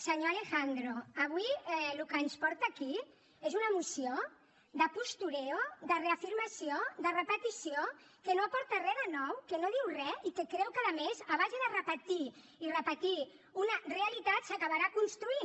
senyor alejandro avui el que ens porta aquí és una moció de postureo de reafirmació de repetició que no aporta re de nou que no diu re i que creu que a més a base de repetir i repetir una realitat s’acabarà construint